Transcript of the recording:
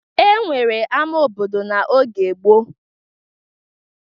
E nwere ama obodo n'oge gboo.